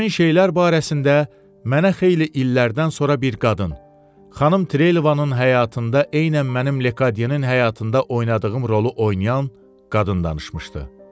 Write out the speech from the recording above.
Həmin şeylər barəsində mənə xeyli illərdən sonra bir qadın, xanım Trelevanın həyatında eynən mənim Lekadyenin həyatında oynadığım rolu oynayan qadın danışmışdı.